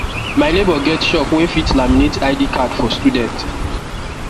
my neighbor get shop wey fit laminate id card for student